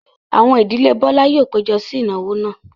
Àwọn ìdílé Bọ́lá yóò péjọ sí ìnáwó náà.